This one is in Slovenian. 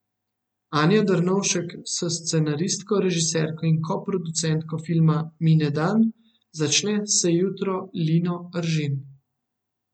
Anja Drnovšek s scenaristko, režiserko in koproducentko filma Mine dan, začne se jutro Lino Eržen.